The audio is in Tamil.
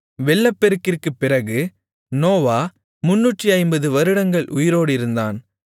வெள்ளப்பெருக்கிற்குப் பிறகு நோவா 350 வருடங்கள் உயிரோடிருந்தான்